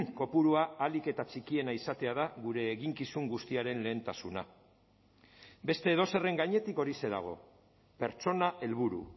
kopurua ahalik eta txikiena izatea da gure eginkizun guztiaren lehentasuna beste edozeren gainetik horixe dago pertsona helburu